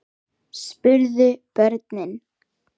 spurðu börnin.